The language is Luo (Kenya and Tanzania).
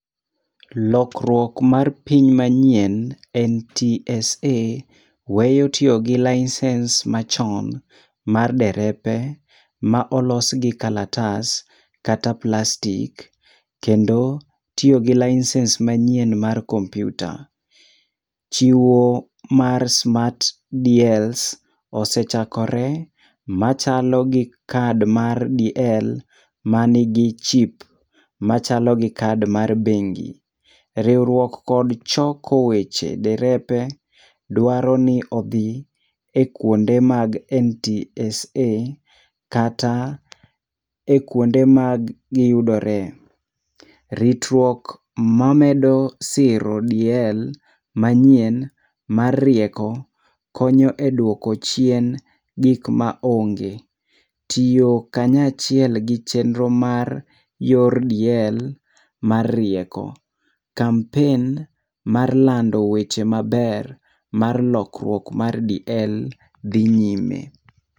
Lokruok mar piny manyien NTSA weyo tiyo gi license machon mar derepe ma olos gi karatas kata plastic kendo tiyo gi license manyien mar kompyuta. Chiwo mar [c]smart DLs osechakore machalo gi kad mar DL ma ni gi chip machalo gi card mar bengi. Riwruok kod choko weche derepe dwaro ni odhi e kuonde mag NTSA kata e kuonde ma gi yudore. Ritruok ma medo siro DL mayien mar rieko konyo e dwoko chien gik ma onge, tiyo kanya achiel gi chenro mar yor DL mar rieko, campaign mar lando weche maber mar lokruok mar DL dhi nyime.